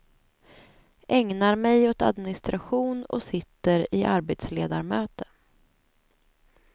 Ägnar mig åt administration och sitter i arbetsledarmöte.